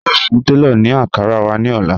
A yóò fún tẹlọ̀ ní Ankara wà ní ọ̀lá.